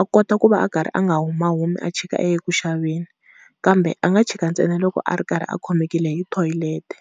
a kota ku va a karhi a nga huma humi a chika a ya eku xaveni, kambe a nga chika ntsena loko a ri karhi a khomekile hi thoyilete.